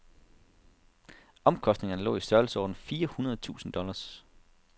Omkostningerne lå i størrelseordenen fire hundrede tusind dollars.